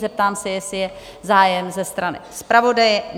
Zeptám se, jestli je zájem ze strany zpravodaje?